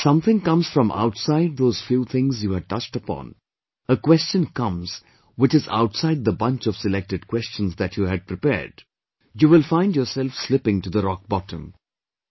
But if something comes from outside those few things you had touched upon; a question comes which is outside the bunch of selected questions that you had prepared; you will be find yourself slipping to the rock bottom